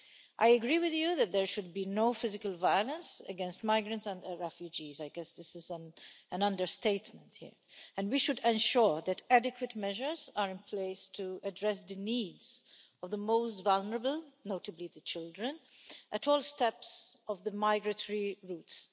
I agree with you that there should be no physical violence against migrants and refugees I guess this is an understatement here and we should ensure that adequate measures are in place to address the needs of the most vulnerable, notably the children, at all steps of the migratory routes.